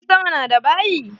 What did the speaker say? Jirgin sama na da bayi?